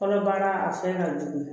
Kɔnɔbara a fɛn ka jugu